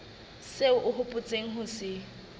seo o hopotseng ho se